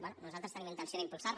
bé nosaltres tenim intenció d’impulsar la